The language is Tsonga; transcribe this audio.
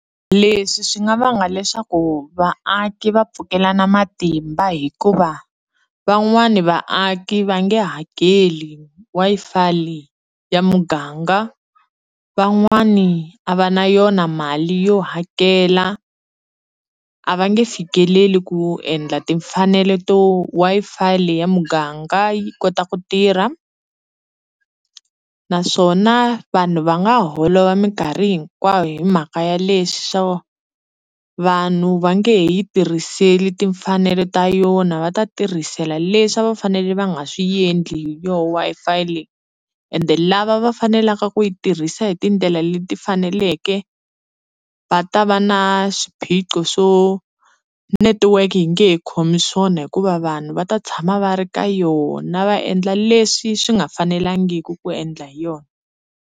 Leswi swi nga vanga leswaku vaaki va pfukelana matimba hikuva van'wani vaaki va nge hakeli Wi-Fi leyi ya muganga van'wani a va na yona mali yo hakela a va nge fikeleli ku endla timfanelo to Wi-Fi leyi ya muganga yi kota ku tirha naswona vanhu va nga holova minkarhi hinkwayo hi mhaka ya leswi swo vanhu va nge he yi tirhiseli timfanelo ta yona va ta tirhisela leswi a va fanele va nga swi endli hi yo Wi-Fi leyi ende lava va fanelaka ku yi tirhisa hi tindlela leti faneleke va ta va na swiphiqo swo netiweke yi nge he khomi swona hikuva vanhu va ta tshama va ri ka yona va endla leswi swi nga fanelangiki ku endla hi yona.